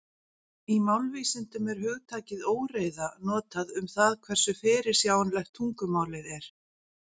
Í málvísindum er hugtakið óreiða notað um það hversu fyrirsjáanlegt tungumálið er.